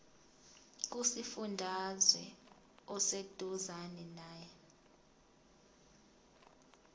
kusifundazwe oseduzane nawe